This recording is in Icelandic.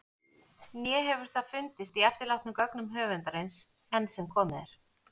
Né hefur það fundist í eftirlátnum gögnum höfundarins- enn sem komið er.